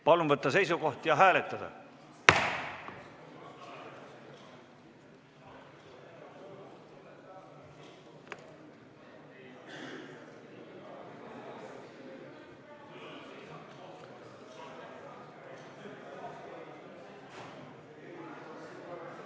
Palun võtta seisukoht ja hääletada!